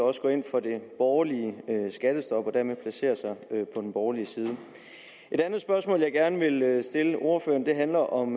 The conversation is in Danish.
også går ind for det borgerlige skattestop og dermed placerer sig på den borgerlige side et andet spørgsmål jeg gerne vil stille ordføreren handler om